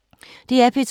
DR P2